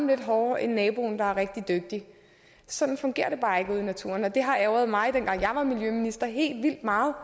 lidt hårdere end naboen der er rigtig dygtig sådan fungerer det bare i naturen og det har ærgret mig helt vildt meget